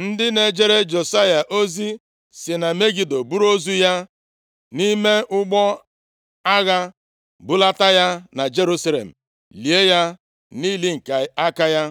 Ndị na-ejere Josaya ozi sị na Megido buru ozu ya nʼime ụgbọ agha bulata ya na Jerusalem, lie ya nʼili nke aka ya.